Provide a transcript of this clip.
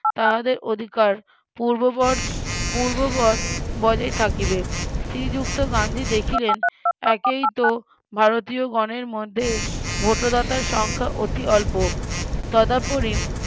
তাহাদের অধিকার পূর্ববৎ পূর্ববৎ বজায় থাকিবে শ্রীযুক্ত গান্ধী দেখিলেন একেই তো ভারতীয় গণের মধ্যে ভোটদাতার সংখ্যা অতি অল্প তদাপরিম